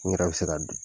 N yɛrɛ bɛ se ka